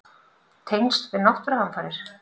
Tengsl við náttúruhamfarir?